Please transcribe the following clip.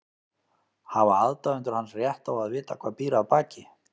Hafa aðdáendur hans rétt á að vita hvað býr að baki?